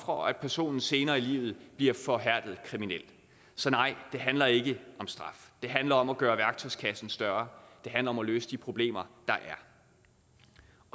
og at personen senere i livet bliver forhærdet kriminel så nej det handler ikke om straf det handler om at gøre værktøjskassen større det handler om at løse de problemer der er